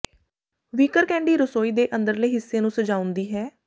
wicker candy ਰਸੋਈ ਦੇ ਅੰਦਰਲੇ ਹਿੱਸੇ ਨੂੰ ਸਜਾਉਂਦੀ ਹੈ